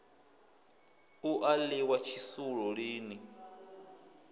u a ḽiwa tshisulu lini